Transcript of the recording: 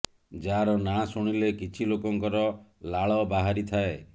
ଯାହାର ନାଁ ଶୁଣିଲେ କିଛି ଲୋକଙ୍କର ଲାଳ ବାହାରି ଥାଏ